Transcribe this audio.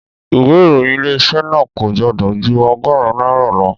Ìwé ìròyìn Ilé-iṣẹ́ náà kò gbọ́dọ̀ jú ọgọ́rùn-ún náírà lọ